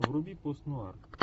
вруби пост нуар